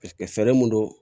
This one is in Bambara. fɛɛrɛ mun don